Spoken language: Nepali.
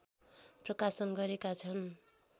प्रकाशन गरेका छन्